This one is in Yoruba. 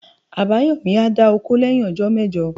Abayomi a dà òkó leyin òjó mejò.